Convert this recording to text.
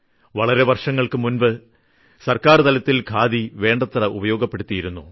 വളരെ വർഷങ്ങൾക്ക് മുൻപ് സർക്കാർതലത്തിൽ ഖാദി വേണ്ടത്ര ഉപയോഗിച്ചിരുന്നു